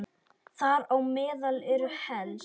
Þar á meðal eru helst